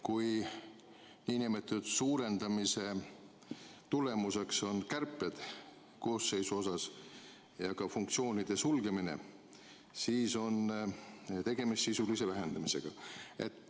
Kui suurendamise tulemuseks on koosseisu kärpimine ja funktsioonide sulgemine, siis on tegemist sisulise vähendamisega.